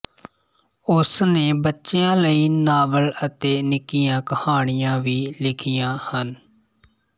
ਉਸਨੇ ਬੱਚਿਆਂ ਲਈ ਨਾਵਲ ਅਤੇ ਨਿੱਕੀਆਂ ਕਹਾਣੀਆਂ ਵੀ ਲਿਖੀਆਂ ਹਨ